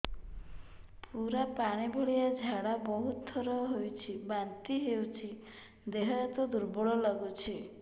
ପୁରା ପାଣି ଭଳିଆ ଝାଡା ବହୁତ ଥର ହଉଛି ବାନ୍ତି ହଉଚି ଦେହ ହାତ ଦୁର୍ବଳ ଲାଗୁଚି